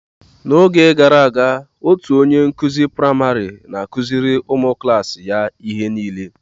Na-oge gara aga otú onye nkuzi praịmarị n'akụziri ụmụ klaasi ya ihe nile.